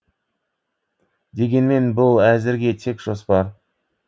дегенмен бұл әзірге тек жоспар